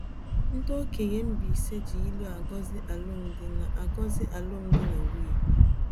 Ndị okenye Mbaise ji ilu agọzi alụmdi na agọzi alụmdi na nwunye.